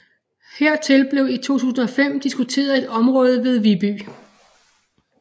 Hertil blev i 2005 diskuteret et område ved Viby